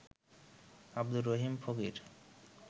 Abdur Rahim Fakir